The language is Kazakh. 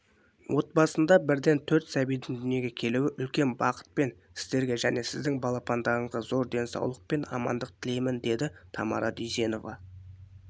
отбасында бірден төрт сәбидің дүниеге келуі үлкен бақыт мен сіздерге және сіздердің балапандарыңызға зор денсаулық пен амандық тілеймін деді тамара дүйсенова